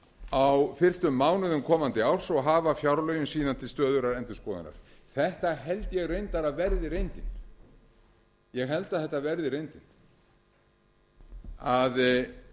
á fyrstu mánuðum komandi árs og hafa fjárlögin síðan til stöðugrar endurskoðunar þetta held ég reyndar að verði reyndin að